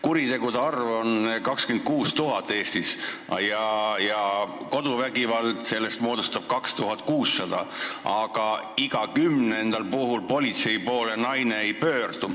Kuritegude arv Eestis on 26 000 ja koduvägivallajuhtumeid on 2600, aga ainult iga kümnes ohver pöördub politsei poole.